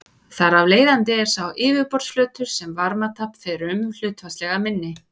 Þar af leiðandi er sá yfirborðsflötur sem varmatap fer um hlutfallslega minni.